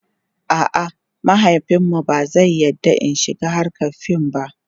a'a mahaifinmu ba zai yarda In shiga hrkar fim ba